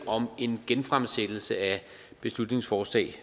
om en genfremsættelse af beslutningsforslag